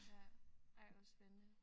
Ja ej hvor spændende